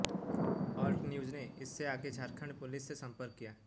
alt News ने इससे आगे झारखंड पुलिस से संपर्क किया